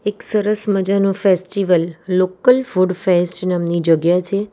સરસ મજાનો festival local food fest નામની જગ્યા છે.